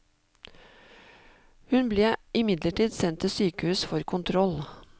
Hun ble imidlertid sendt til sykehus for kontroll.